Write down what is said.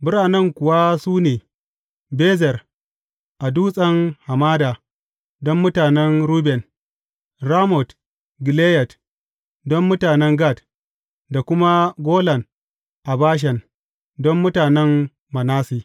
Biranen kuwa su ne, Bezer a dutsen hamada, don mutanen Ruben; Ramot Gileyad, don mutanen Gad; da kuma Golan a Bashan, don mutanen Manasse.